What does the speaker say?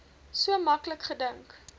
so maklik gedink